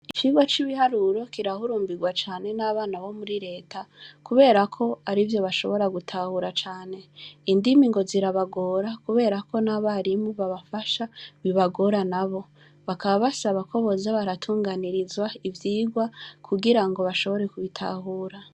Ivirwa c'ibiharuro kirahurumbirwa cane n'abana bo muri leta kuberako ari vyo bashobora gutahura cane indima ngo zirabagora kuberako n'abarimu babafasha bibagora na bo bakaba basabakoboza baratunganirizwa ivyirwa kugira ngo bashobore kubitahura.